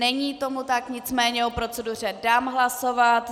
Není tomu tak, nicméně o proceduře dám hlasovat.